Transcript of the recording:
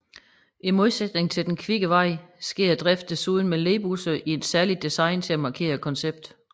I modsætning til Den kvikke vej sker driften desuden med ledbusser i et særligt design til at markere konceptet